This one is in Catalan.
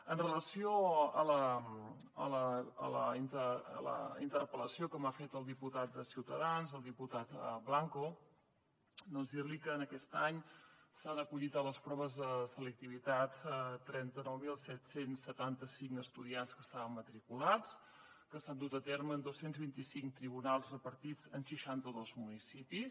amb relació a la interpel·lació que m’ha fet el diputat de ciutadans el diputat blanco dir li que aquest any s’han acollit a les proves de selectivitat trenta nou mil set cents i setanta cinc estudiants que hi estaven matriculats que s’han dut a terme en dos cents i vint cinc tribunals repartits en seixanta dos municipis